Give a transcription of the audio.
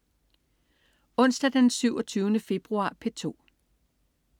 Onsdag den 27. februar - P2: